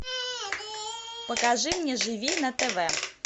покажи мне живи на тв